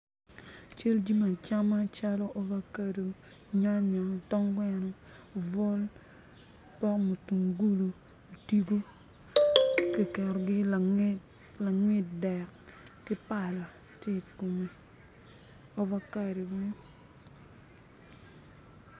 Cal jami acama calo avocado, nyanya, tong gweno obwol pok mutungulu, otigo kiketogi ilanget dek ki pala tye i kome avocado mo